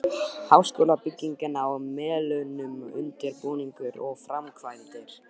Háskólabyggingin á Melunum- undirbúningur og framkvæmdir